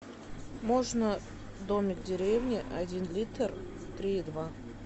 можно домик в деревне один литр три и два